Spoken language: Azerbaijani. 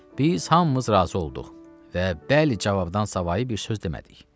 Biz hamımız razı olduq və bəli cavabdan savayı bir söz demədik.